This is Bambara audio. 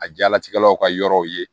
A jalatigɛlaw ka yɔrɔw ye